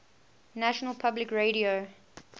national public radio